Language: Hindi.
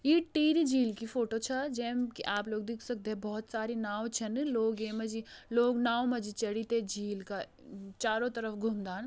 ई टिहरी झील की फोटो छ जैम आप लोग देख सकदे बहुत सारी नाव छन लोग ये मा जी लोग नाव मा जी चढ़ी ते झील का चारों तरफ घूमदान।